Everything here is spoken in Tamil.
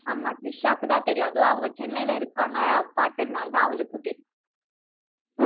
ஆமா திரிஷாக்கு தான் தெரியும் அதுவும் அவங்க சென்னையில இருக்காங்க பார்த்ததினால அவளுக்கும் தெரியும்